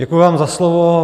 Děkuji vám za slovo.